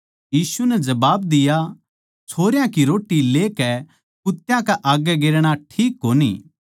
यीशु नै जबाब दिया छोरयां की रोट्टी लेकै कुत्त्या कै आग्गै गेरना ठीक कोनी